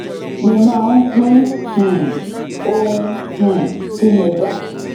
mo máa ń pín um ohun um tí mo bá